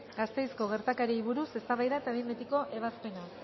gasteizko gertakariei buruz eztabaida eta behin betiko ebazpena